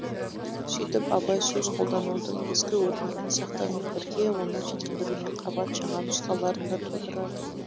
сөйтіп абай сөз қолданудың ескі өрнегін сақтаумен бірге оны жетілдірумен қабат жаңа нұсқаларын да тудырады